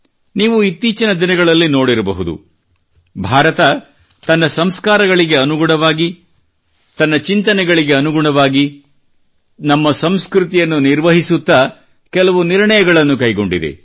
ನೀವು ಇತ್ತೀಚಿನ ದಿನಗಳಲ್ಲಿ ನೋಡಿರಬಹುದು ಭಾರತವು ತನ್ನ ಸಂಸ್ಕಾರಗಳಿಗೆ ಅನುಗುಣವಾಗಿ ನಮ್ಮ ಚಿಂತನೆಗಳಿಗೆ ಅನುಗುಣವಾಗಿ ನಮ್ಮ ಸಂಸ್ಕೃತಿಯನ್ನು ನಿರ್ವಹಿಸುತ್ತಾ ಕೆಲವು ನಿರ್ಣಯಗಳನ್ನು ಕೈಗೊಂಡಿದೆ